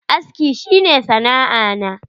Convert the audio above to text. Aski shi ne sana'a na.